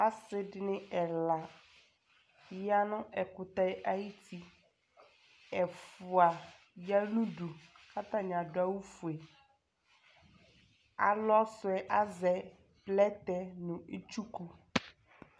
Asɩ dɩnɩ ɛla ya nʋ ɛkʋtɛ ayuti Ɛfʋa ya nʋ udu kʋ atanɩ adʋ awʋfue Alɔ sʋ yɛ azɛ plɛtɛ nʋ itsuku